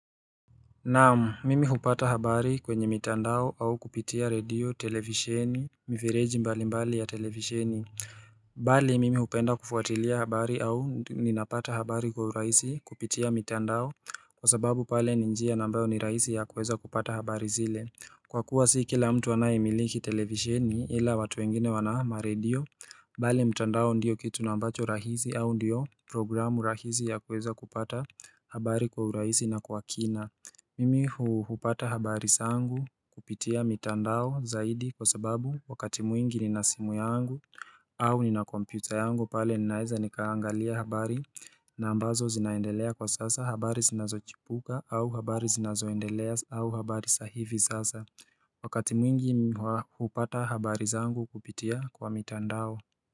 Naam mimi hupata habari kwenye mitandao au kupitia radio televisheni mifereji mbali mbali ya televisheni bali mimi hupenda kufuatilia habari au ninapata habari kwa urahisi kupitia mitandao kwa sababu pale ni njia na ambayo ni rahisi ya kuweza kupata habari zile Kwa kuwa si kila mtu anaye miliki televisheni ila watu wengine wana ma radio bali mtandao ndio kitu na ambacho rahisi au ndio programu rahisi ya kuweza kupata habari kwa urahisi na kwa kina Mimi hupata habari sangu kupitia mitandao zaidi kwa sababu wakati mwingi nina simu yangu au nina komputer yangu pale ninaeza nikaangalia habari na ambazo zinaendelea kwa sasa habari sinazochipuka au habari zinazoendelea au habari sahivi sasa Wakati mwingi hupata habari zangu kupitia kwa mitandao.